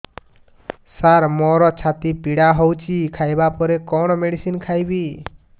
ସାର ମୋର ଛାତି ପୀଡା ହଉଚି ଖାଇବା ପରେ କଣ ମେଡିସିନ ଖାଇବି